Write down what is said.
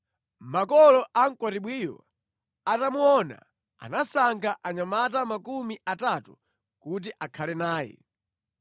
Makolo a mkwatibwiyo atamuona, anasankha anyamata makumi atatu kuti akhale naye.